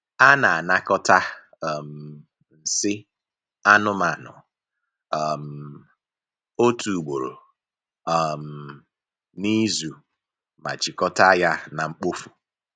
A na-anakọta um nsị anụmanụ um otu ugboro um n’izu ma jikọta ya na mkpofu.